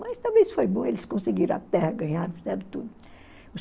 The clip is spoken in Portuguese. Mas talvez foi bom, eles conseguiram a terra, ganharam tudo.